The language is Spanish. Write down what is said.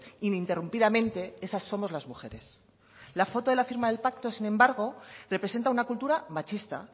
ininterrumpidamente esas somos las mujeres la foto de la firma del pacto sin embargo representa una cultura machista